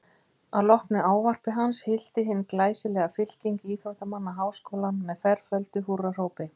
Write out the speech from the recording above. Að loknu ávarpi hans hylti hin glæsilega fylking íþróttamanna Háskólann með ferföldu húrrahrópi.